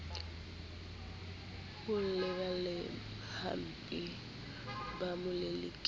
ho balehaempa ba mo lelekisa